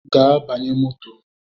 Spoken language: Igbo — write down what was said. Gaa banye moto!